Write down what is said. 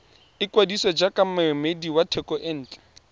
ikwadisa jaaka moemedi wa thekontle